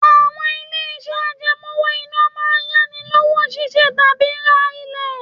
Àwọn ilé-iṣẹ́ àjẹmó owó-ìná máa ń yá ni lówó ṣiṣẹ́ tàbí ra ilé.